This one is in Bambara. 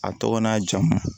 A tɔgɔ n'a jamu